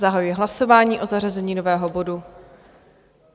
Zahajuji hlasování o zařazení nového bodu.